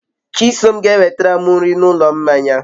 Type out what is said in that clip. Chisom ga enwetaram nri n'ulo mmanya